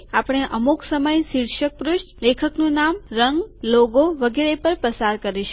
આપણે અમુક સમય શીર્ષક પૃષ્ઠ લેખકનું નામ રંગ લોગો ચિન્હ વગેરે પર પસાર કરીશું